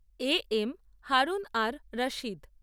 A M Harun ar Rashid